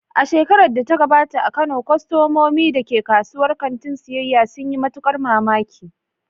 A shekarar da ta gabata a Kano, kwastomomin da ke kasuwar kantin siyyaya sun yi matukar mamaki.